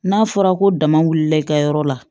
N'a fɔra ko dama wulila i ka yɔrɔ la